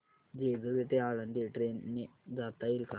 जेजूरी ते आळंदी ट्रेन ने जाता येईल का